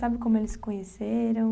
Sabe como eles se conheceram?